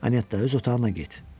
Annyetta, öz otağına get.